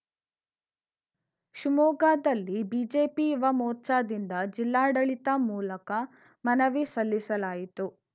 ಶಿವಮೊಗ್ಗದಲ್ಲಿ ಬಿಜೆಪಿ ಯುವ ಮೋರ್ಚಾದಿಂದ ಜಿಲ್ಲಾಡಳಿತ ಮೂಲಕ ಮನವಿ ಸಲ್ಲಿಸಲಾಯಿತು